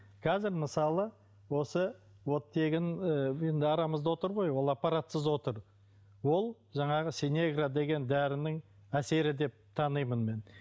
қазір мысалы осы оттегін ы енді арамызда отыр ғой ол аппаратсыз отыр ол жаңағы синегра деген дәрінің әсері деп танимын мен